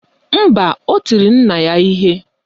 Mba, o tiri nna ya ihe